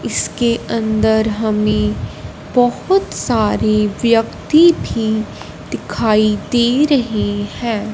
इसके अंदर हमें बहुत सारी व्यक्ति भी दिखाई दे रही है।